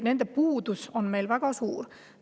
Nende puudus on meil väga suur.